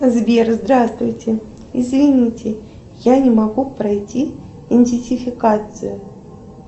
сбер здравствуйте извините я не могу пройти идентификацию